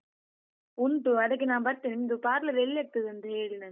ಉಂಟು ಅದಕ್ಕೆ ನಾ ಬರ್ತೇನೆ, ನಿಮ್ದು parlour ಎಲ್ಲಿ ಇರ್ತದೆ ಅಂತ ಹೇಳಿ ನಂಗೆ.